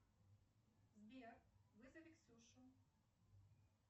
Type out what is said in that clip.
сбер вызови ксюшу